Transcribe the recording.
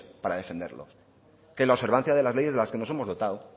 para defenderlos que es la observancia de las leyes de las que nos hemos dotado